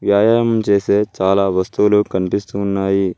వ్యాయామం చేసే చాలా వస్తువులు కనిపిస్తూ ఉన్నాయి.